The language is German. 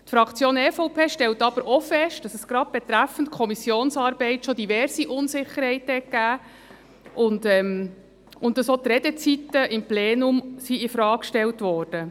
Die Fraktion EVP stellt aber auch fest, dass es gerade betreffend Kommissionsarbeit bereits diverse Unsicherheiten gegeben hat und dass auch die Redezeiten im Plenum infrage gestellt wurden.